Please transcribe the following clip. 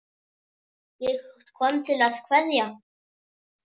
Ég kom til að kveðja.